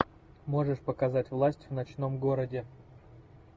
можешь показать власть в ночном городе